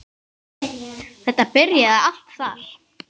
Þetta byrjaði allt þar.